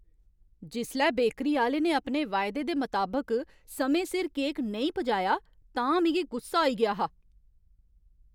जिसलै बेकरी आह्‌ले ने अपने वायदे दे मताबक समें सिर केक नेईं पजाया तां मिगी गुस्सा आई गेआ हा।